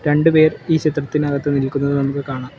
രണ്ടുപേർ ഈ ചിത്രത്തിനകത്ത് നിൽക്കുന്നത് നമുക്ക് കാണാം.